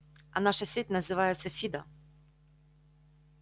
а наша сеть называется фидо